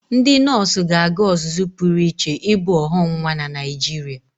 Ndị nọọsụ ga-aga ọzụzụ pụrụ iche ibu ọghọnwa na Naịjirịa.